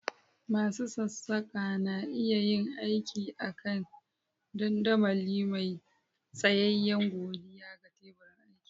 Masu sassaƙa na iya yin aiki a kan dandamali mai tsayayye godiya ga teburin aiki.